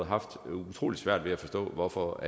haft utrolig svært ved at forstå hvorfor